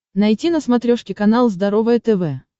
найти на смотрешке канал здоровое тв